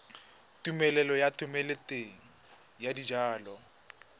tumelelo ya thomeloteng ya dijalo